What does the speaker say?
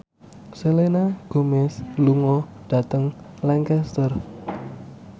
Selena Gomez lunga dhateng Lancaster